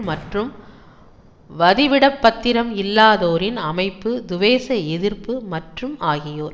மற்றும் வதிவிடப்பத்திரம் இல்லாதோரின் அமைப்பு துவேச எதிர்ப்பு மற்றும் ஆகியோர்